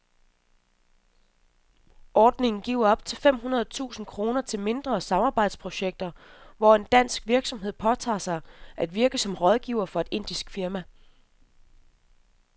Ordningen giver op til fem hundrede tusind kroner til mindre samarbejdsprojekter, hvor en dansk virksomhed påtager sig at virke som rådgiver for et indisk firma.